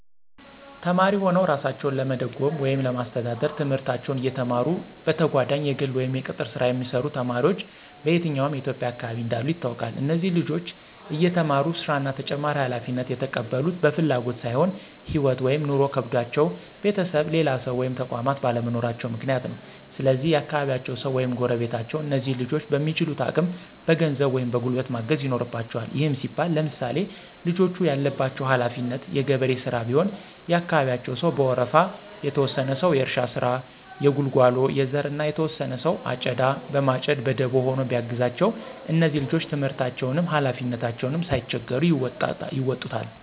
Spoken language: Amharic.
ተማሪ ሁነዉ እራሳቸዉን ለመደጎም ወይም ለማስተዳደር፤ ትምህርታቸዉን እየተማሩ በተጋጓዳኝ የግል ወይም የቅጥር ሥራ የሚሰሩ ተማሪዎች በየትኛዉም የኢትዬጵያ አካባቢ እንዳሉ ይታወቃል። እነዚህ ልጆች እየተማሩ ሥራ እና ተጨማሪ ሀላፊነት የተቀበሉት በፍላጎት ሳይሆን ህይወት (ኑሮ) ከብዷቸዉ ቤተሰብ፣ ሌላ ሰዉ ወይም ተቋማት ባለመኖራቸዉ ምክንያት ነው። ስለዚህ የአካባቢያቸዉ ሰዉ ወይም ጎረቤቶች እነዚህን ልጆች በሚችሉት አቅም በገንዘብ ወይም በጉልበት ማገዝ ይኖርበቸዋል። ይህም ሲባል ለምሳሌ፦ ልጆቹ ያለባቸው ሀለፊነት የገበሬ ሥራ ቢሆን የአካባቢያቸው ሰዉ በወረፋ፤ የተወሰነ ሰዉ የእርሻ ስራ፣ የጉልጓሎ፣ የዘር እና የተወሰነ ሰዉ አጨዳ በማጨድ በደቦ ሆኖ ቢያግዛቸዉ እነዚህ ልጆች ትምህርታቸዉንም ሀላፊነታቸዉንም ሳይቸገሩ ይወጡታል።